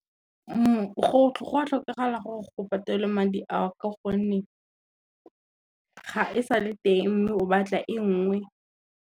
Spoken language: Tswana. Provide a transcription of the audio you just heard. Go a tlhokagala gore go patelwe madi a ka gonne, ga e sa le teng mme o batla e ngwe.